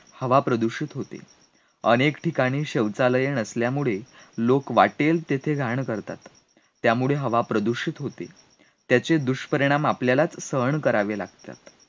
हवा प्रदूषित होते, अनेक ठिकाणी शौचालय नसल्यामुळे लोक वाटेल तेथे घाण करतात, त्यामुळे हवा प्रदूषित होते, त्याचे दुष्परिणाम आपल्यालाच सहन करावे लागत्यात